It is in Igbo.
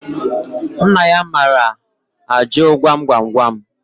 Nna ya maara ajụ gwam gwam gwam